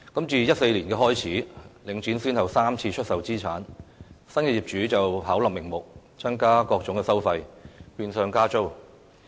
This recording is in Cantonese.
自2014年，領展先後3次出售資產，新業主巧立名目，增加各種收費，變相加租。